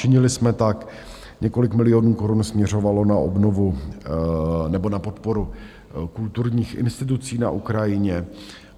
Činili jsme tak, několik milionů korun směřovalo na obnovu nebo na podporu kulturních institucí na Ukrajině.